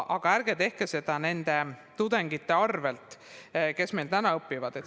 Aga ärge tehke seda nende tudengite arvel, kes meil täna õpivad.